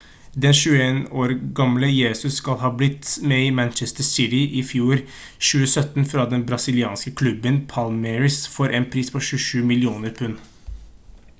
den 21 år gamle jesus skal ha blitt med i manchester city i januar i fjor 2017 fra den brasilianske klubben palmeiras for en pris på 27 millioner pund